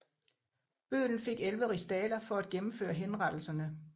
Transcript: Bøddelen fik 11 rigsdaler for at gennemføre henrettelserne